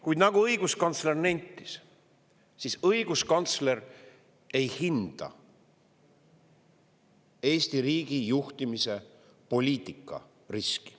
Kuid nagu õiguskantsler nentis, õiguskantsler ei hinda Eesti riigi juhtimise poliitika riski.